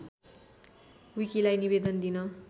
विकीलाई निवेदन दिन